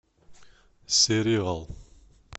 сериал